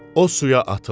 O suya atıldı.